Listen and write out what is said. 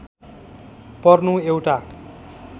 पर्नु एउटा